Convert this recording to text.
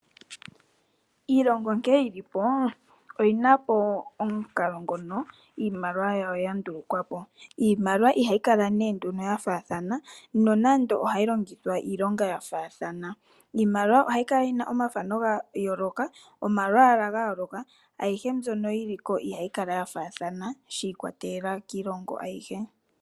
Iilongo nkene yilipo oyina omukalo ngono iimaliwa yawo yandulukwapo .iimaliwa ihayi Kala ya faathana nonando ohayi longithwa iilonga ya faathana. Iimaliwa ohayi kala yina omathano ga yooloka, omalwaala ga yooloka. Ayihe mbyono yiliko ihayi Kala ya faathana shi ikwatelela kiilongo ayihe.